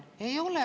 Ei ole.